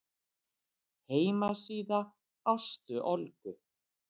Heimasíða Ástu Olgu.